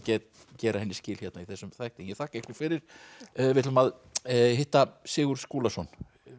gera henni skil hérna í þessum þætti en ég þakka ykkur fyrir við ætlum að hitta Sigurð Skúlason